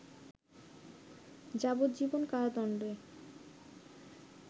যাবজ্জীবন কারাদণ্ডে